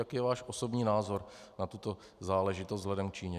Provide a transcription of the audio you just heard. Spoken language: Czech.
Jaký je váš osobní názor na tuto záležitost vzhledem k Číně?